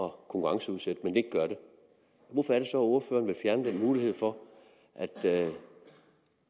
at konkurrenceudsætte men ikke gør det hvorfor er det så ordføreren vil fjerne muligheden for at